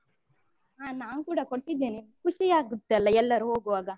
ಹ ನಾನು ಕೂಡ ಕೊಟ್ಟಿದ್ದೇನೆ, ಖುಷಿಯಾಗುತ್ತೆ ಅಲ್ಲಾ ಎಲ್ಲರೂ ಹೋಗುವಾಗ.